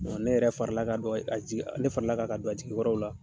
ne yɛrɛ farala kan ka don a jigi . Ne farala kan ka don a jigi kɔrɔ o la.